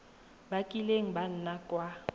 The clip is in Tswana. ba kileng ba nna kwa